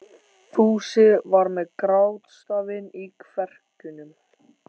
Fúsi var með grátstafinn í kverkunum.